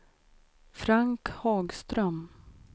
Frank Hagström